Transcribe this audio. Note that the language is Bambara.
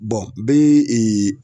bɛ